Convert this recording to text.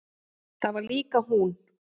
Það var líka hún.